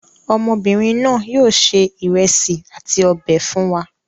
Ọmọbìnrin náà yóò se ìrẹsì àti ọbẹ̀ fún wa.